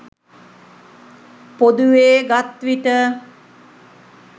පොදුවේ ගත් විට